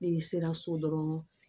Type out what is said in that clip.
Ne sera so dɔrɔn